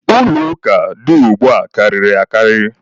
Ụlọ ụka dị ugbua karịrị akarị.